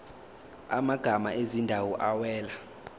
amagama ezindawo awela